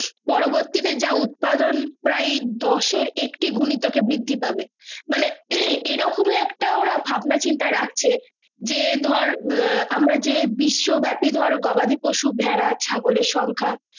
পরবর্তী তে যা উৎপাদন প্রায় দোষের একটু গণিত কে বৃদ্ধি পাবে মানে এ রাওকামে ভাবনাচিন্তা রাখছে যে ধরে আহ আমরা যে বিশ্বব্যাপী ধরে গবাদি পশু ভাড়া ছাগলএর সংখ্যা